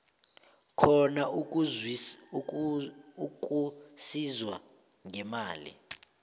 khona ukusizwa ngemali